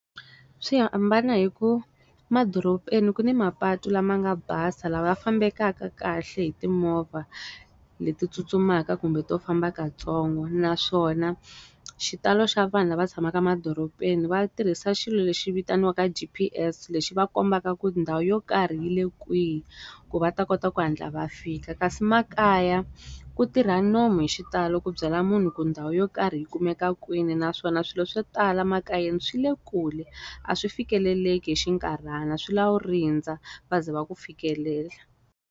Swi hambana hi ku va madorobeni ku ni mapatu lama nga basa lawa ya fambekaka kahle hi timovha leti tsutsumaka kumbe to famba kantsongo naswona, xitalo xa vanhu lava tshamaka emadorobeni va tirhisa xilo lexi vitaniwaka G_P_S lexi va kombaka ku ndhawu yo karhi yi le kwihi, ku va ta kota ku hatla va fika. Kasi makaya, ku tirha nomu hi xitalo ku byela munhu ku ndhawu yo karhi hi kumeka kwini naswona swilo swo tala makayeni swi le kule. A swi fikeleleki hi xikarhana swi lava rindza va zi va ku fikelela.